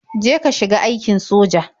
Je ka shiga aikin soja.